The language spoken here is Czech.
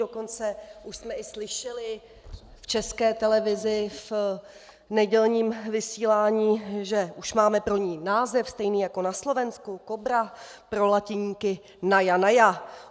Dokonce už jsme i slyšeli v České televizi v nedělním vysílání, že už máme pro ni název stejný jako na Slovensku - Kobra, pro latiníky naja naja.